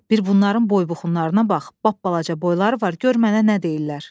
Bir bunların boy-buxunlarına bax, balaca boyları var, gör mənə nə deyirlər.